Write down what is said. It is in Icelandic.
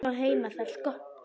Hún á heima þar sko.